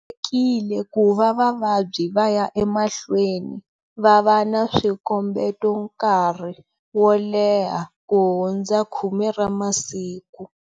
Tolovelekile ku va vavabyi va ya emahlweni va va na swikombeto nkarhi wo leha ku hundza 10 ra masiku.